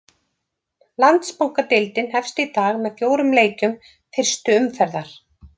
Landsbankadeildin hefst í dag með fjórum leikjum fyrstu umferðar.